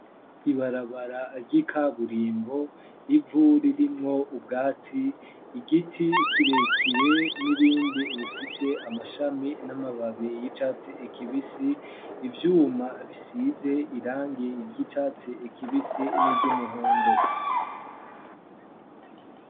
Ibarabara ry'ikaburimbo ivu ririmwo ubwatsi igiti kirekire n'ibindi bifise amashami n'amababi y'icatsi kibisi ivyuma bisize irange iry'icatsi kibisi n'iry'umuhondo.